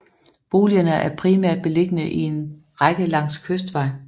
Boligerne er primært beliggende i en række langs Kystvej